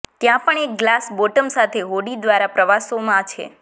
ત્યાં પણ એક ગ્લાસ બોટમ સાથે હોડી દ્વારા પ્રવાસોમાં છે